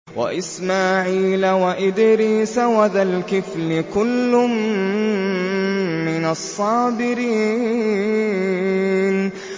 وَإِسْمَاعِيلَ وَإِدْرِيسَ وَذَا الْكِفْلِ ۖ كُلٌّ مِّنَ الصَّابِرِينَ